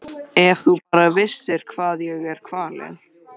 Ef þú bara vissir hvað ég er kvalinn.